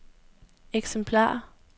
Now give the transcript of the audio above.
eksemplarer